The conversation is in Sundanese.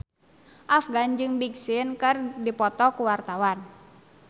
Afgan jeung Big Sean keur dipoto ku wartawan